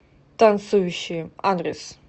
танцующие адрес